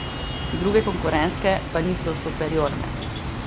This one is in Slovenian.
Druge konkurentke pa niso superiorne.